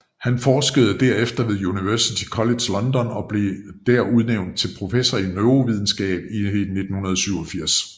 Han forskede derefter ved University College London og blev der udnævnt til professor i neurovidenskab i 1987